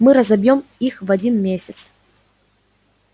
мы разобьём их в один месяц